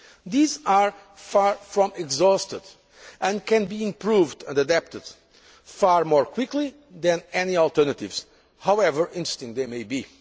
These are far from exhausted and can be improved and adapted far more quickly than any alternatives, however interesting they